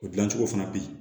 O dilancogo fana bɛ yen